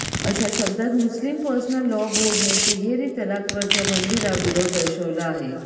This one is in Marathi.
अशा शब्दात मुस्लिम पर्सनल लॉ बोर्डानं तिहेरी तलाकवरच्या बंदीला विरोध दर्शवला आहे